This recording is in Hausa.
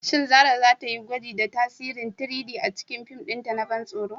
Shin Zarah za ta yi gwaji da tasirin 3-D a cikin fim ɗinta na ban tsoro?